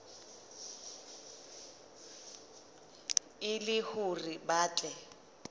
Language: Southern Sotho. e le hore ba tle